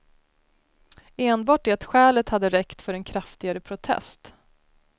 Enbart det skälet hade räckt för en kraftigare protest.